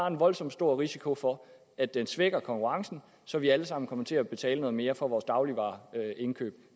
en voldsom stor risiko for at den svækker konkurrencen så vi alle sammen kommer til at betale noget mere for vores dagligvareindkøb